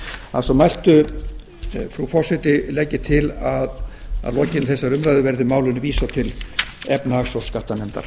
að svo mæltu frú forseti legg ég til að að lokinni þessari umræðu verði málinu vísað til efnahags og skattanefndar